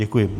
Děkuji.